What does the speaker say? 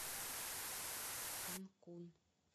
канкун